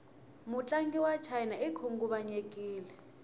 mutlangi wachina ikhunguvanyekile